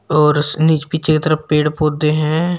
और पीछे की तरफ पेड़ पौधे हैं।